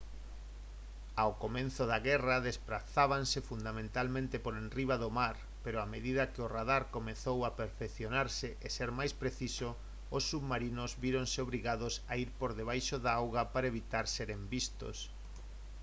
ao comezo da guerra desprazábanse fundamentalmente por enriba do mar pero a medida que o radar comezou a perfeccionarse e ser máis preciso os submarinos víronse obrigados a ir por debaixo da auga para evitar seren vistos